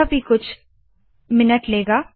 यह भी कुछ मिनट लेगा